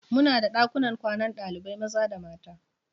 Muna da ɗakunan kwanan ɗalibai maza da mata.